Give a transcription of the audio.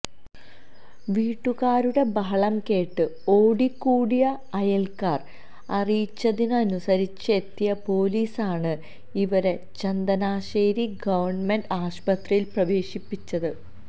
വീട്ടുകാരുടെ ബഹളംകേട്ട് ഓടികൂടിയ അയല്ക്കാര് അറിയിച്ചതിനുസരിച്ചെത്തിയ പോലീസാണ് ഇവരെ ചങ്ങനാശ്ശേരി ഗവണ്മെന്റ് ആശുപത്രിയില് പ്രവേശിപ്പിച്ചത്